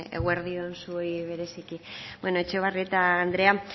eguerdi on zuei bereziki bueno etxebarrieta andrea